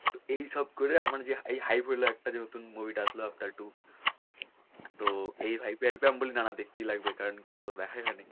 তো এইসব করে আমার যে হলো যে একটা নতুন movie টা আসলো তো এই vibe এ আমি বলি না না দেখতেই লাগবে কারন কি এতো দেখাই হয়নি।